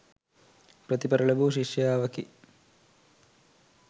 ප්‍රතිඵල ලැබූ ශිෂ්‍යාවකි.